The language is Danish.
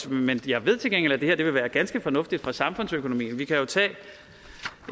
men jeg ved til gengæld at det her vil være ganske fornuftigt for samfundsøkonomien og vi kan jo tage